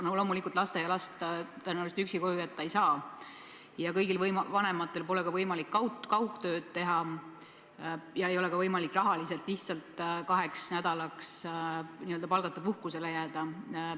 Loomulikult, lasteaialast tõenäoliselt üksi koju jätta ei saa, aga kõigil vanematel pole võimalik kaugtööd teha ja ei ole ka võimalik rahaliselt lihtsalt kaheks nädalaks n-ö palgata puhkusele jääda.